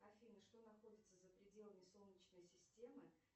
афина что находится за пределами солнечной системы